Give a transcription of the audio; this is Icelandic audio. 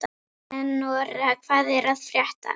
Eleonora, hvað er að frétta?